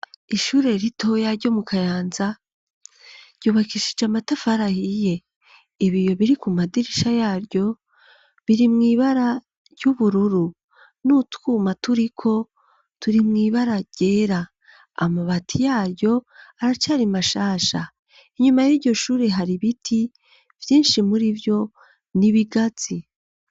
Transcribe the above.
Ishure ritoya ryo mu kayanza ryubakishije amatafari ahiye ibiyo biri ku madirisha yaryo biri mw'ibara ry'ubururu n'utwuma turiko turi mwibara ryera amabati yaryo aracari mashasha inyuma y'iryo shure hari biti vyinshi muri vyo n'ibigazi.